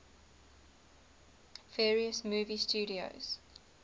various movie studios